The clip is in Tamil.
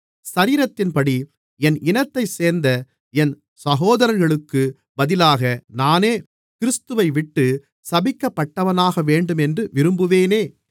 சரீரத்தின்படி என் இனத்தைச் சேர்ந்த என் சகோதரர்களுக்குப் பதிலாக நானே கிறிஸ்துவைவிட்டுச் சபிக்கப்பட்டவனாகவேண்டுமென்று விரும்புவேனே